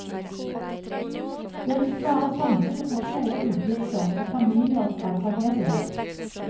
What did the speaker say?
Det vil spare samfunnet for store utgifter og familier fra tragedier.